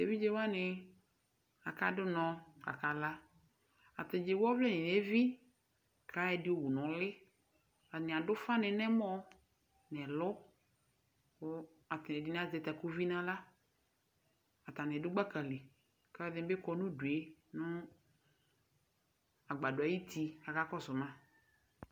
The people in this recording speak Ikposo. Evidzewani aka du unɔ kakala ataɛdini ewu ɔvlɛ nu evi ɛdini ewu ɛku nu uli ɛdini adu ufani nɛmɔ ewu ɛku nɛlu ɛdini azɛ takuvi na ɣla atani du gbakali aluɛdini bi kɔ nu udue ɛluɛdini bi kɔnu agbadɔ ayu utie kakakɔsu ma